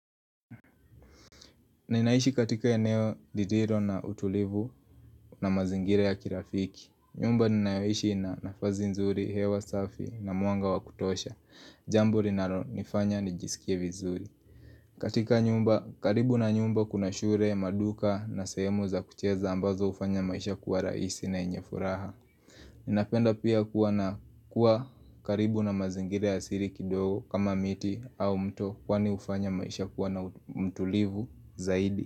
Ninaishi katika eneo lililo na utulivu na mazingira ya kirafiki nyumba ninayoishi ina nafasi nzuri, hewa safi na mwanga wakutosha Jambo linalo nifanya nijisikie vizuri katika nyumba, karibu na nyumba kuna shule maduka na sehemu za kucheza ambazo hufanya maisha kuwa rahisi na yenye furaha Ninapenda pia kuwa na kuwa karibu na mazingira ya siri kidogo kama miti au mto Kwani hufanya maisha kuwa na mtulivu zaidi.